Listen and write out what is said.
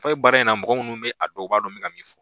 Bɛ baara in na ,mɔgɔ minnu bɛ a dɔn ,u b'a dɔn min ka min fɔ